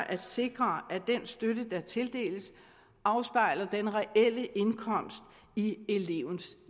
at sikre at den støtte der tildeles afspejler den reelle indkomst i elevens